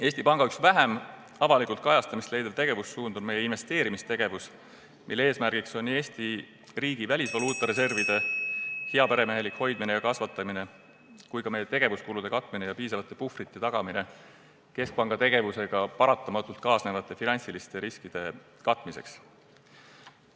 Eesti Panga üks vähem avalikku kajastamist leidnud tegevussuund on investeerimistegevus, mille eesmärk on nii Eesti riigi välisvaluuta reservide heaperemehelik hoidmine ja kasvatamine kui ka meie tegevuskulude katmine ja piisava puhvri tagamine keskpanga tegevusega paratamatult kaasnevate finantsiliste riskide katmiseks.